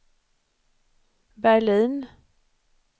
Berlin